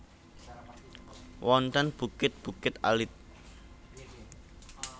Wonten bukit bukit alit